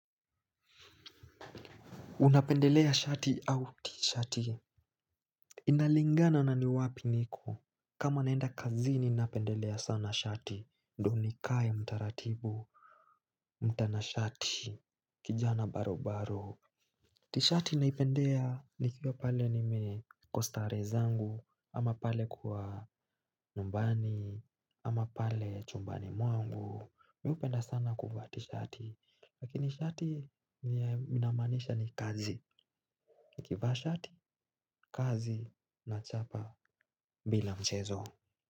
Unapendelea shati au tishati. Inalingana na ni wapi niko. Kama naenda kazini napendelea sana shati ndo nikae mtaratibu. Mtanashati kijana baro baro. Tishati naipendea nikiwa pale nime nko staree zangu. Ama pale kuwa nyumbani ama pale chumbani mwangu. Miupenda sana kuvaa tishati. Lakini shati ni ya inamaanisha ni kazi. Kivaa shati kazi na chapa bila mchezo.